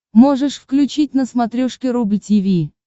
можешь включить на смотрешке рубль ти ви